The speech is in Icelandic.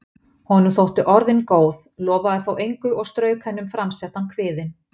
Honum þóttu orðin góð, lofaði þó engu og strauk henni um framsettan kviðinn.